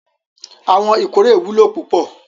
Awon ikore wulo pupo